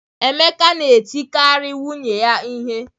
Emeka na-etikarị nwunye ya ihe